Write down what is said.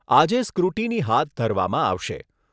આજે સ્ક્રુટીની હાથ ધરવામાં આવશે.